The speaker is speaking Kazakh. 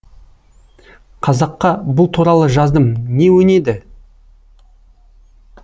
қазаққа бұл туралы жаздым не өнеді